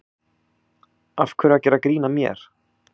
Af hverju að gera grín að mér.